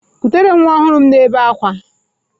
Kutere m nwa ọhụrụ m na-ebe akwa!